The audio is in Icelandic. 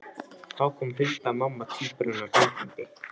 Þá kom Hulda mamma tvíburanna gangandi.